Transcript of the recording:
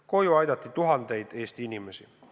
Koju aidati tuhandeid Eesti inimesi.